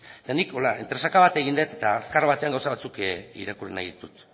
eta nik hola entresaka bat egin dut eta azkar batean gauza batzuk irakurri nahi ditut